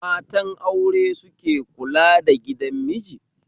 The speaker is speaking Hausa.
Matan aure suke kula da gidan miji